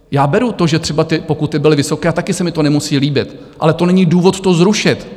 Já beru to, že třeba ty pokuty byly vysoké, a taky se mi to nemusí líbit, ale to není důvod to zrušit.